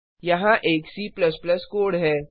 यहाँ एक C code है